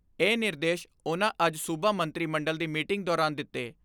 ਇਹ ਨਿਰਦੇਸ਼ ਉਨ੍ਹਾਂ ਅੱਜ ਸੂਬਾ ਮੰਤਰੀ ਮੰਡਲ ਦੀ ਮੀਟਿੰਗ ਦੌਰਾਨ ਦਿੱਤੇ।